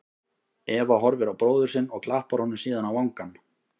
Eva horfir á bróður sinn og klappar honum síðan á vangann.